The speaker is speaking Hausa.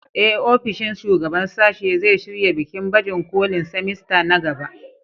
Ee, ofishin shugaban sashe zai shirya bikin baje kolin semester na gaba.